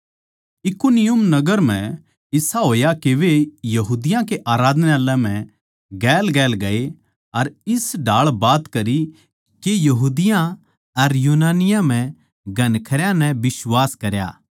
इकुनियुम नगर म्ह इसा होया के वे यहूदियाँ के आराधनालय म्ह गेलगेल गये अर इस ढाळ बात करी के यहूदियाँ अर यूनानियाँ म्ह घणखरयां नै बिश्वास करया